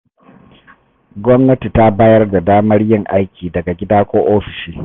Gwamnati ta bayar da damar yin aiki daga gida ko ofishi.